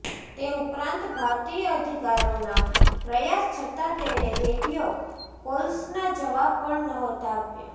તે ઉપરાંત ભારતીય અધિકારીઓનાં પ્રયાસ છતા તેણે રેડિયો કોલ્સનાં જવાબ પણ નહોતા આપ્યા